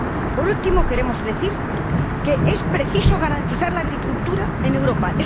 Por último, queremos decir que es preciso garantizar la agricultura en Europa.